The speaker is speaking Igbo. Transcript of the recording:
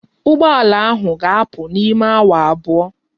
Ụgbọ ala ahụ ga-apụ n'ime awa abụọ